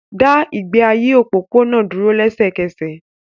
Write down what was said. Dá ìgbé ayé òpópónà dúró lẹ́sẹ̀kẹsẹ̀